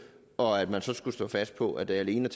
og at man så skulle stå fast på at der alene